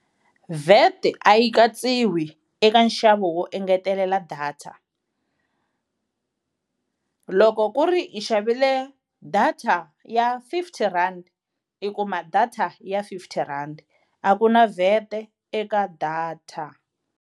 VAT a yi katsiwi eka nxavo wo engetelela data, loko ku ri i xavile data ya fifty rand i kuma data ya fifty rand a ku na VAT eka data.